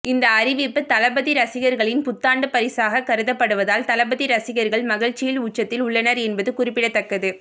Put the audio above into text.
இந்த அறிவிப்பு தளபதி ரசிகர்களின் புத்தாண்டு பரிசாக கருதப்படுவதால் தளபதி ரசிகர்கள் மகிழ்ச்சியின் உச்சத்தில் உள்ளனர் என்பது குறிப்பிடத்தக்கது